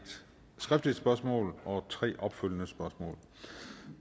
skriftligt spørgsmål og tre opfølgende spørgsmål